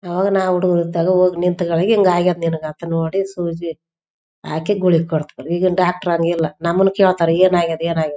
ಅವಾಗ ನಾವು ಹುಡುಗ್ರು ಇದ್ದಾಗ ಹೋಗಿ ನಿಂತ್ಕೊಂಡಾಗ ಹಿಂಗ ಆಗ್ಯದ ನಿನಗ ಅಂತ ನೋಡಿ ಸೂಜಿ ಹಾಕಿ ಗುಳಿಗೆ ಕೊಡ್ತಾರ ಈಗಿನ್‌ ಡಾಕ್ಟರ್‌ ಹಂಗೆ ಇಲ್ಲ ನಮ್ಮನ್ನೆ ಕೇಳ್ತಾರ ಏನಾಗಿದೆ ಏನಾಗಿದೆ.